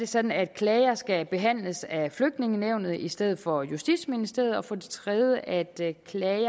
sådan at klager skal behandles af flygtningenævnet i stedet for af justitsministeriet og for det tredje er det